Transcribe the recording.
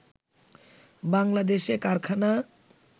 বাংলাদেশে কারখানা